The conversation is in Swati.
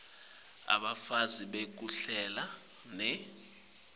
bufakazi bekuhlela ne